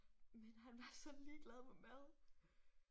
Men han var så ligeglad med mad